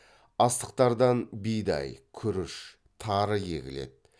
астықтардан бидай күріш тары егіледі